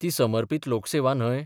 ती समर्पत लोकसेवा न्हय?